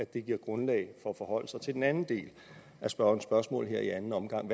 det giver grundlag for at forholde sig til den anden del af spørgerens spørgsmål her i anden omgang